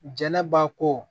Jɛnɛba ko